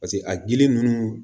Paseke a gili ninnu